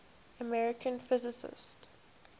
american physicists